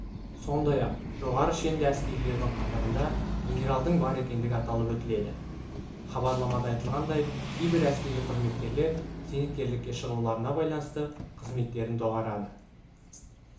сондай-ақ жоғары шенді әскерилердің қатарында генералдың бар екендігі аталып өтіледі хабарламада айтылғандай кейбір әскери қызметкерлер зейнеткерлікке шығуларына байланысты қызметтерін доғарады